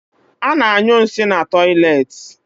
Ana anyụ nsị na tọiletị